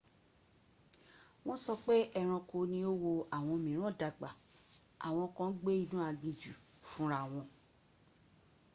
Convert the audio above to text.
wọ́n sọ pé ẹranko ni ó wo àwọn mìíràn dàgbà àwọn kan gbé inú aginjù fúnra wọn